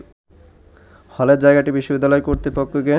হলের জায়গাটি বিশ্ববিদ্যালয় কর্তৃপক্ষকে